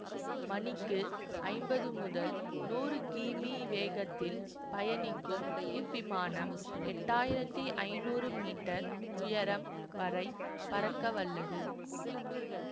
மணிக்கு ஐம்பது முதல் நூறு கி மீ வேகத்தில் பயணிக்கும் இவ்விமானம் எட்டு ஆயிரத்தி ஐநூறு மீட்டர் உயரம் வரை பறக்க வல்லது